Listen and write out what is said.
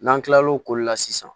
N'an kila lo k'olu la sisan